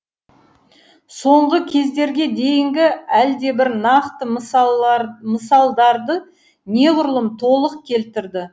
соңғы кездерге дейінгі әлдебір нақты мысалдарды неғұрлым толық келтірді